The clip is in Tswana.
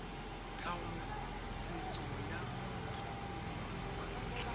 tlhaolosetso ya motlhokomedi wa ntlha